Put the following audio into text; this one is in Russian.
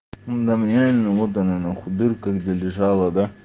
да мне реально вот она нахуй дырка где лежала да